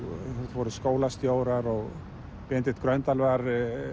voru skólastjórar og Benedikt Gröndal var